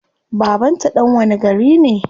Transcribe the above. Baban ta dan wani gari ne?